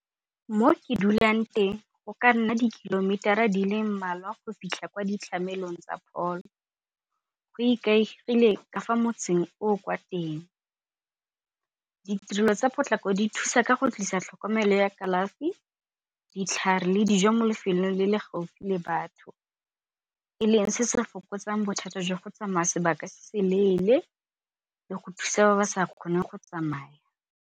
Mo ke dulang teng go ka nna di-kilometer-a di le mmalwa go fitlha kwa ditlamelong tsa pholo. Go ikaegile ka fa motseng o kwa teng, ditirelo tsa potlako di thusa ka go tlisa tlhokomelo ya kalafi, ditlhare le dijo mo lefelong le le gaufi le batho e leng se se fokotsang bothata jwa go tsamaya sebaka se seleele le go thusa ba ba sa kgoneng go tsamaya.